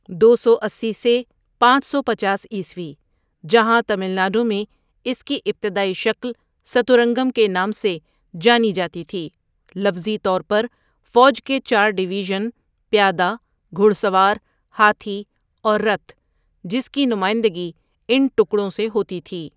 دو سو اسی سے پانچ سو پچاس عیسوی، جہاں تامل ناڈو میں اس کی ابتدائی شکل ستورنگم کے نام سے جانی جاتی تھی لفظی طور پر فوج کے چار ڈویژن پیادہ، گھڑسوار، ہاتھی، اور رتھ، جس کی نمائندگی ان ٹکڑوں سے ہوتی ہے.